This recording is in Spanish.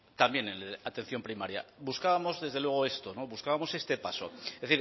también en atención primaria buscábamos desde luego esto buscábamos este paso es